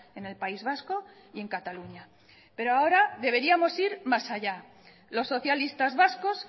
en el país vasco y en cataluña pero ahora deberíamos ir más allá los socialistas vascos